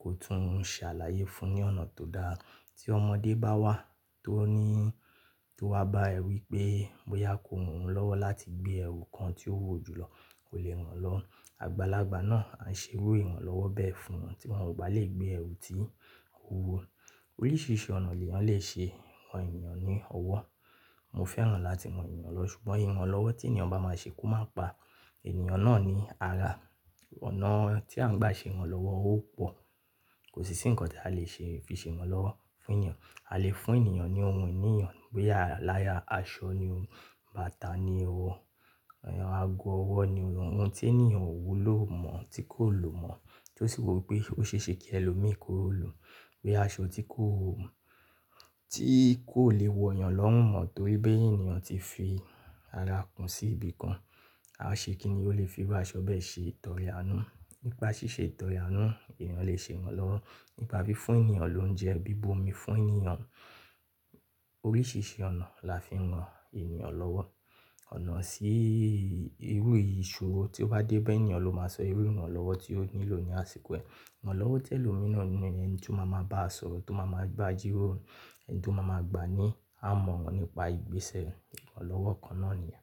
kó tún ṣàlàyé fún un ní ọ̀nà tó dára. Tí ọmọdé bá wá tó wá bá ẹ wí pé bóyá ko ran-ùn lọ́wọ́ láti gbé ẹrù kan tí ó wò jù lọ, kò lè ràn-án lọ́wọ́. Àgbàlagbà náà á ṣe irú ìrànlọ́wọ́ bẹ́ẹ̀ fún un tí wọ́n ò bá le gbé ẹrù tí ó wúwo. Oríṣiríṣi ọ̀nà ènìyàn lè ṣe ran ènìyàn ní ọwọ́. Mo fẹ́ràn láti ran ènìyàn lọ ṣùgbọ́n ìrànlọ́wọ́ tí ènìyàn bá máa ṣe kó má pa ènìyàn náà ní ara. Ọ̀nà tí a ń gbà ṣe ìrànlọ́wọ́ ó pò, kò sí ǹkan tí a lè fi ṣe ìrànlọ́wọ́ fún ènìyàn. A lè fún ènìyàn ní ohun ìní-yàn, bóyá àláya, aṣọ ni o, bàtà ni o, ago ọwọ́ ni o, ohun tí ènìyàn ò wúlò mọ̀ tí kò lò mọ̀ tí ó sì wò pé ó ṣe é ṣe kí ẹlòmíì kó lo, bí i aṣọ tí kò lè wọ̀ yàn lọ́run mo, nítorí pé ènìyàn tí fi ara kún sí ibi kan. A ṣe kí ni, ó lè fi irú aṣọ bẹ́ẹ̀ ṣe ìtọrẹ àánú. Nípa ṣíṣe ìtọrẹ àánú, ènìyàn lè ṣe ìrànlọ́wọ́. Nípa fí fún ènìyàn lóúnjẹ, bí bu omi fún ènìyàn. Oríṣiríṣi ọ̀nà la fi ń ran ènìyàn lọ́wọ́. Ọ̀nà sí irú ìṣòro tí ó bá dé ba ènìyàn ló máa sọ irú ìrànlọ́wọ́ tí ó nílò ní àsìkò ẹ. Ìràn-lọ́wọ́ tí ẹlò mìran ni, ẹni tí ó má má bá sọ̀rọ̀, tí ó má má bá jíròrò, ẹni tí ó má má gba ni àmọ̀ràn nípa ìgbé ṣe rẹ̀. Ìrànlọ́wọ́ kan náà nìyẹn.